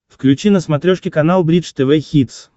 включи на смотрешке канал бридж тв хитс